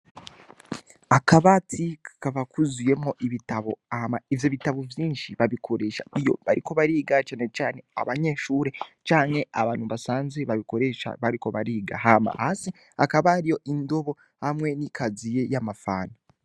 Akabati kakaba kuzuyemwo ibitabo, hama ivyo bitabo vyinshi babikoresha iyo bariko bariga canecane abanyeshure canke abantu basanzwe babikoresha bariko bariga, hama hasi hakaba hariyo indobo hamwe n'ikaziye y'amafanta.